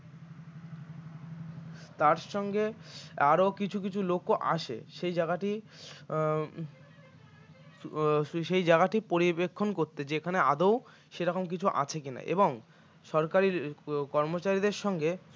তার সঙ্গে আরও কিছু কিছু লোকও আসে সেই জায়গাটি উম উম সেই জায়গাটি পর্যবেক্ষণ করতে যেখানে আদৌ সে রকম কিছু আছে কিনা এবং সরকারি কর্মচারীদের সঙ্গে